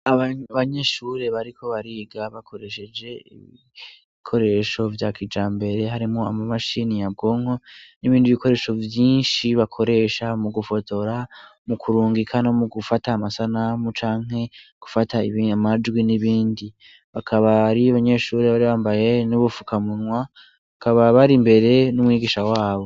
Abanyeshure bariko bariga bakoresheje ibikoresho vya kijambere harimwo imashini nyabwonko n'ibindi bikoresho vyinshi bakoresha mu gufotora, mu kurungika no mu gufata amasanamu canke gufata amajwi n'ibindi. Bakaba ari abanyeshure bari bambaye n'ubufukamunwa, bakaba bari imbere n'umwigisha wabo.